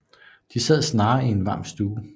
De sad snarere i en varm stue